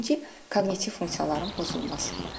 Birinci koqnitiv funksiyaların pozulması.